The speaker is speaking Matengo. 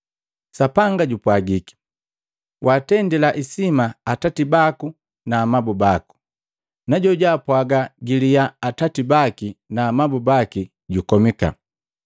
Sapanga jupwagiki, ‘Waatendila isima atati baku na amabu baku na jojwaapwaga giliyaa atati baki na amabu baki jukomika.’